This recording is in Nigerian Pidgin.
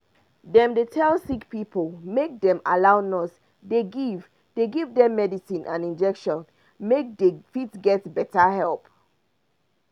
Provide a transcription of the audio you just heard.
dem dey tell sick pipo make dem allow nurse dey give dey give dem medicine and injection make dey fit get better help